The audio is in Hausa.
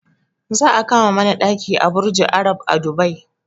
Za a kama mana ɗaki a burjul arab a dubai